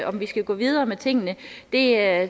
om vi skal gå videre med tingene er